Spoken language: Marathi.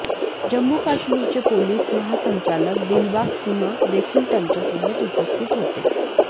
जम्मू काश्मीरचे पोलीस महासंचालक दिलबाग सिंह देखील त्यांच्यासोबत उपस्थित होते